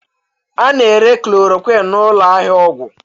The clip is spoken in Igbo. A na-ere chloroquine n'ụlọ ahịa ọgwụ